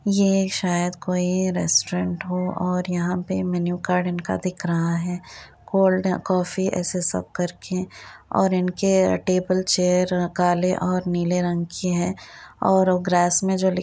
ये शायद कोई रेस्ट्रोरेंट हो और यहाँ पे मेन्यू कार्ड इनका दिख रहा है। कोल्ड कॉफ़ी ऐसे सब करके और इनके टेबल चेयर काले और नीले रंग के हैं और ग्रास में जो लि --